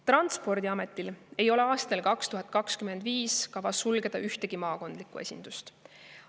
Transpordiametil ei ole aastal 2025 kavas sulgeda ühtegi maakondlikku esindust.